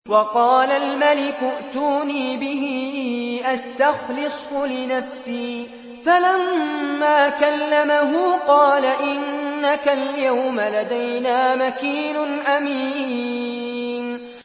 وَقَالَ الْمَلِكُ ائْتُونِي بِهِ أَسْتَخْلِصْهُ لِنَفْسِي ۖ فَلَمَّا كَلَّمَهُ قَالَ إِنَّكَ الْيَوْمَ لَدَيْنَا مَكِينٌ أَمِينٌ